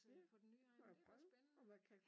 Ja må jeg prøve om jeg kan